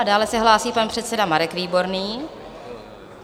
A dále se hlásí pan předseda Marek Výborný.